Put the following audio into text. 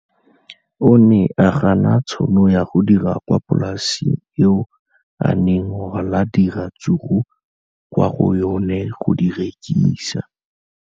O ne a gana tšhono ya go dira kwa polaseng eo a neng rwala diratsuru kwa go yona go di rekisa.